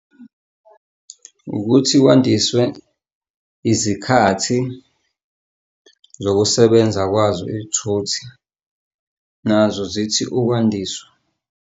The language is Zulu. Ukuthi kwandiswe izikhathi zokusebenza kwazo iy'thuthi, nazo zithi ukwandiswa.